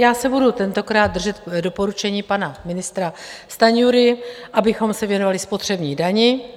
Já se budu tentokrát držet doporučení pana ministra Stanjury, abychom se věnovali spotřební dani.